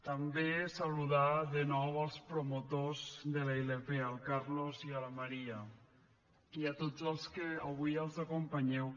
també saludar de nou els promotors de la ilp el carlos i la maria i a tots els que avui els acompanyeu